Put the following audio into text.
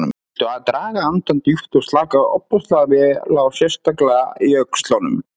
Viltu draga andann djúpt og slaka ofboðslega vel á, sérstaklega í öxlunum.